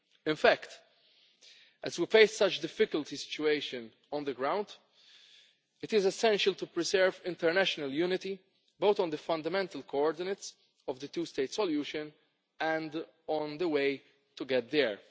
In fact, as we face such a difficult situation on the ground, it is essential to preserve international unity both on the fundamental coordinates of the two state solution and on the way to get there.